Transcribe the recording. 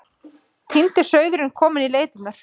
Týndi sauðurinn kominn í leitirnar.